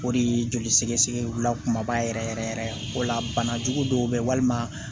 O de ye joli sɛgɛsɛgɛ wula kumaba yɛrɛ yɛrɛ yɛrɛ o la bana jugu dɔw bɛ walima